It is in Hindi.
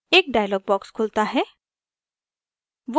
एक dialog box खुलता है